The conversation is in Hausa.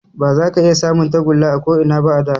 Ba za ka iya samun tagulla a ko Ina ba a da